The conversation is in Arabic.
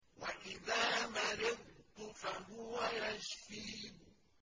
وَإِذَا مَرِضْتُ فَهُوَ يَشْفِينِ